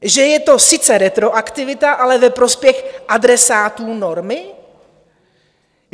Že je to sice retroaktivita, ale ve prospěch adresátů normy?